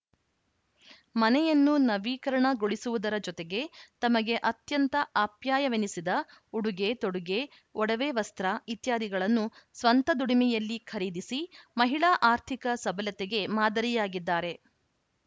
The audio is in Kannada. ಮನೆಯನ್ನು ನವೀಕರಣಗೊಳಿಸುವುದರ ಜೊತೆಗೆ ತಮಗೆ ಅತ್ಯಂತ ಅಪ್ಯಾಯವೆನಿಸಿದ ಉಡುಗೆತೊಡುಗೆ ಒಡವೆ ವಸ್ತ್ರ ಇತ್ಯಾದಿಗಳನ್ನು ಸ್ವಂತ ದುಡಿಮೆಯಲ್ಲಿ ಖರೀದಿಸಿ ಮಹಿಳಾ ಆರ್ಥಿಕ ಸಬಲತೆಗೆ ಮಾದರಿಯಾಗಿದ್ದಾರೆ